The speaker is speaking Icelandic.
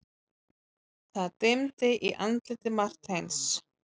Það dimmdi í andliti Marteins.